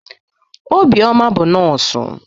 Obioma bụ nọọsụ.